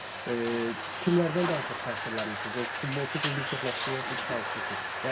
Yəni kimlərdən daha çox təsirlənmisiniz, öz futbolçu kimi bir çox məşqçi ilə çünki çalışmısınız.